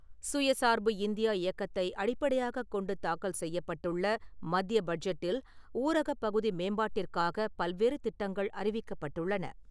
சுயச் சார்பு இந்தியா இயக்கத்தை அடிப்படையாகக் கொண்டுதாக்கல் செய்யப்பட்டுள்ள மத்திய பட்ஜெட்டில் ஊரகப் பகுதி மேம்பாட்டிற்காக பல்வேறு திட்டங்கள் அறிவிக்கப்பட்டுள்ளன.